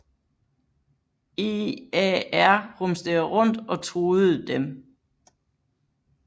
EAR rumsterede rundt og truede dem